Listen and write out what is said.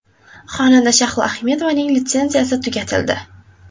Xonanda Shahlo Ahmedovaning litsenziyasi tugatildi.